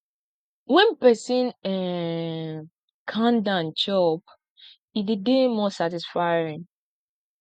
when person um calm down chop e dey dey more satisfying